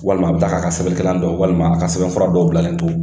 Walima a bɛ taa k'a ka sɛbɛn kɛlan to walima a ka sɛbɛn fura dɔw bilalen to